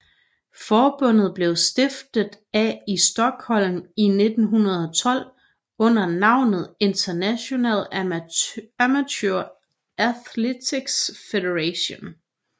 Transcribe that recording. Forbundet blev stiftet af i Stockholm i 1912 under navnet International Amateur Athletics Federation